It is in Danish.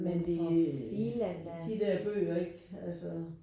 Men det de der bøger ikke altså